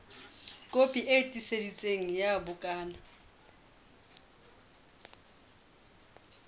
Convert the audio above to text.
kopi e tiiseditsweng ya bukana